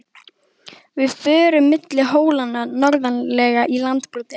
Við förum milli hólanna norðarlega í Landbroti.